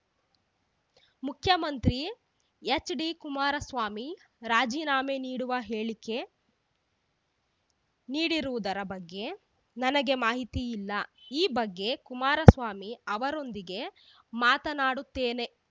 ಮುಖ್ಯಮಂತ್ರಿ ಎಚ್‌ಡಿ ಕುಮಾರಸ್ವಾಮಿ ರಾಜೀನಾಮೆ ನೀಡುವ ಹೇಳಿಕೆ ನೀಡಿರುವುದರ ಬಗ್ಗೆ ನನಗೆ ಮಾಹಿತಿ ಇಲ್ಲ ಈ ಬಗ್ಗೆ ಕುಮಾರಸ್ವಾಮಿ ಅವರೊಂದಿಗೆ ಮಾತನಾಡುತ್ತೇನೆ